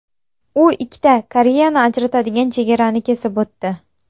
U ikkita Koreyani ajratadigan chegarani kesib o‘tdi.